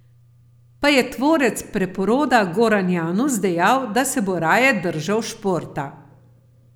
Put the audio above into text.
Pa je tvorec preporoda Goran Janus dejal, da se bo raje držal športa.